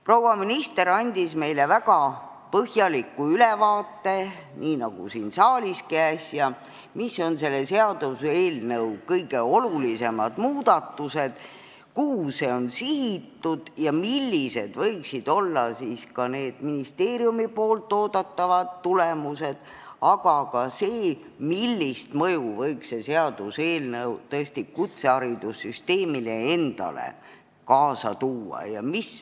Proua minister andis meile väga põhjaliku ülevaate sellest, nii nagu siin saaliski äsja, mis on selle seaduseelnõu kõige olulisemad muudatused, kuhu see on sihitud ja millised võiksid olla ministeeriumi oodatavad tulemused, aga ka sellest, millist mõju võiks see seaduseelnõu kutseharidussüsteemile endale kaasa tuua.